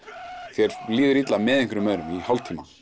þér líða illa með einhverjum öðrum í hálftíma